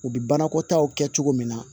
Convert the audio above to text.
U bɛ banakɔtaw kɛ cogo min na